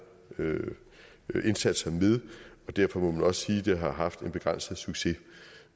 indsatser med derfor må man også sige at den har haft en begrænset succes